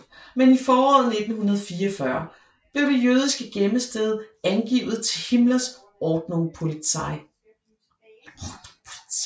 Men i foråret 1944 blev det jødiske gemmested angivet til Himmlers Ordnungspolizei